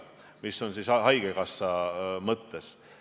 Ma pean silmas haigekassa kindlustust.